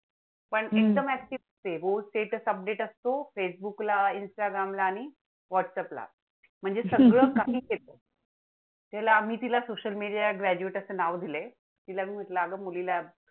आम्ही तिला social media graduate असं नाव दिले. तिला मी म्हंटल अगं मुलीला